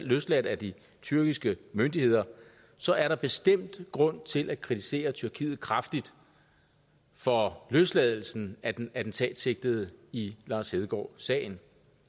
løsladt af de tyrkiske myndigheder så er der bestemt grund til at kritisere tyrkiet kraftigt for løsladelsen af den attentatsigtede i lars hedegaard sagen